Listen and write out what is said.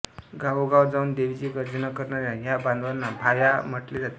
गावोगाव जाऊन देवीची गर्जना करणाऱ्या या बांधवांना भाया म्हटले जाते